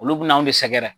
Olu bina anw de sɛgɛrɛ